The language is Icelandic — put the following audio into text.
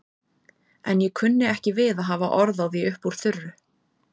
En ég kunni ekki við að hafa orð á því upp úr þurru.